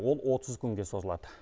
ол отыз күнге созылады